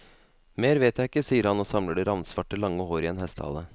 Mer vet jeg ikke, sier han og samler det ravnsvarte, lange håret i en hestehale.